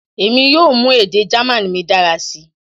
Emi yoo mu ede German mi dara si